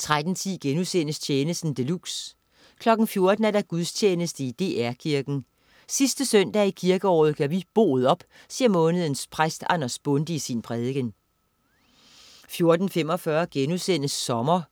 13.10 Tjenesten de luxe* 14.00 Gudstjeneste i DR Kirken. Sidste søndag i kirkeåret gør vi boet op, siger månedens præst Anders Bonde i sin prædiken 14.45 Sommer